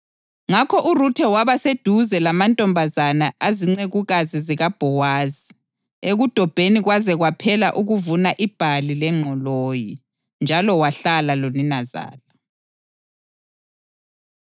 Ngakho uRuthe waba seduze lamantombazana azincekukazi zikaBhowazi ekudobheni kwaze kwaphela ukuvuna ibhali lengqoloyi. Njalo wahlala loninazala.